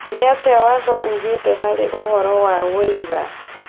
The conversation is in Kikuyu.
Nĩatia watho ugĩte harĩ ũhoro wa ũira